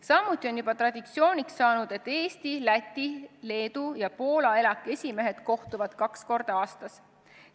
Samuti on juba traditsiooniks saanud, et Eesti, Läti, Leedu ja Poola ELAK-i esimees kohtuvad kaks korda aastas.